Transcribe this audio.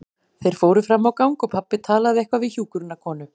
Þeir fóru fram á gang og pabbi talaði eitthvað við hjúkrunarkonu.